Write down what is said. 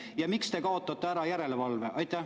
Ja miks te kaotate ära järelevalve?